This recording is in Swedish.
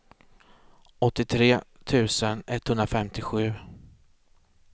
åttiotre tusen etthundrafemtiosju